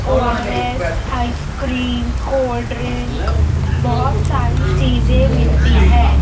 ORS ice cream cold drink बहोत सारी चीजें मिलती है।